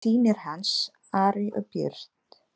Og líka synir hans, Ari og Björn.